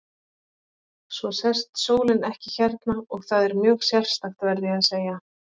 Svo sest sólin ekki hérna og það er mjög sérstakt, verð ég að segja.